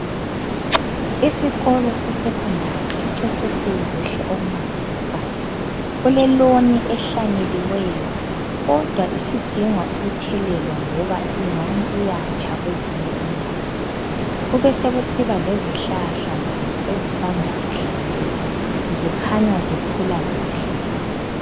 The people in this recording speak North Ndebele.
Isikolo sesecondary sicecisiwe kuhle okumangalisayo, kuleloni ehlanyeliweyo kodwa isidinga ukuthelelwa ngoba ingani iyatsha kwezinye indawo kubesekusiba lezihlahla lazo ezisanda kuhlanyelwa zikhanya zikhula kuhle.